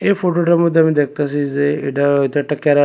এই ফটোটার মধ্যে আমি দেখতাসি যে এটা হয়তো একটা ক্যারা--